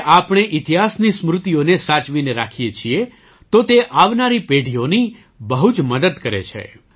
જ્યારે આપણે ઇતિહાસની સ્મૃતિઓને સાચવીને રાખીએ છીએ તો તે આવનારી પેઢીઓની બહુ જ મદદ કરે છે